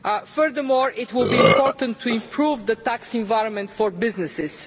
Furthermore it will be important to improve the tax environment for businesses.